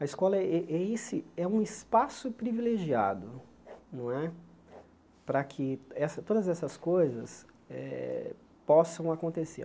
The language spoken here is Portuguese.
A escola é é esse é um espaço privilegiado não é para que essa todas essas coisas eh possam acontecer.